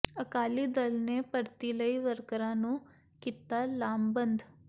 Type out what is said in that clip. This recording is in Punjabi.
ਅਕਾਲੀ ਦਲ ਨੇ ਭਰਤੀ ਲਈ ਵਰਕਰਾਂ ਨੰੂ ਕੀਤਾ ਲਾਮਬੰਦ